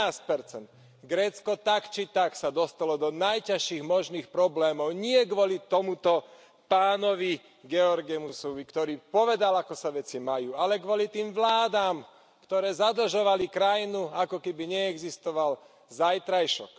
13 Grécko sa tak či tak dostalo do najťažších možných problémov nie kvôli tomuto pánovi Georgemusovi, ktorý povedal, ako sa veci majú, ale kvôli tým vládam, ktoré zadlžovali krajinu, ako keby neexistoval zajtrajšok.